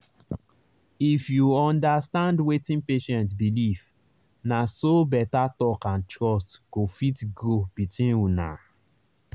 if you understand wetin patient believe na so better talk and trust go fit grow between una.